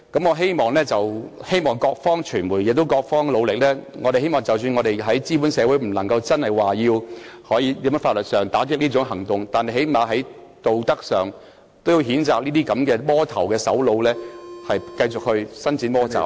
我希望傳媒亦在各方努力，即使在資本主義社會中無法在法律上打擊這種情況，但最低限度在道德上，也要譴責這種"魔頭"的首腦繼續伸展魔爪......